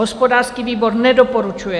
Hospodářský výbor nedoporučuje.